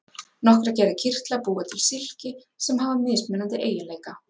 nokkrar gerðir kirtla búa til silki sem hafa mismunandi eiginleika